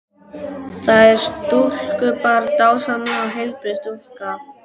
Það er stúlkubarn, dásamleg og heilbrigð stúlka.